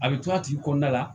A bɛ to a tigi kɔnɔna la